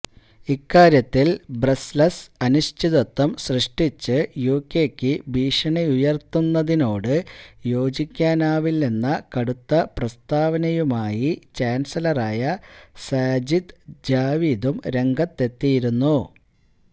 ഇക്കാര്യത്തില് ബ്രസല്സ് അനിശ്ചിതത്വം സൃഷ്ടിച്ച് യുകെയ്ക്ക് ഭീഷണിയുയര്ത്തുന്നതിനോട് യോജിക്കാനാവില്ലെന്ന കടുത്ത പ്രസ്താവനയുമായി ചാന്സലറായ സാജിദ് ജാവിദും രംഗത്തെത്തിയിരുന്നു